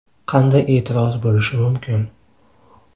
Qanday e’tiroz bo‘lishi mumkin?!